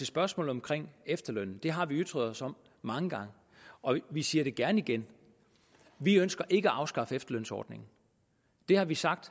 spørgsmålet omkring efterlønnen har vi ytret os om mange gange og vi siger det gerne igen vi ønsker ikke at afskaffe efterlønsordningen det har vi sagt